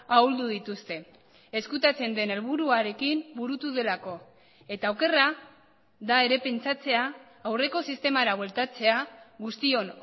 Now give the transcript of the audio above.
ahuldu dituzte ezkutatzen den helburuarekin burutu delako eta okerra da ere pentsatzea aurreko sistemara bueltatzea guztion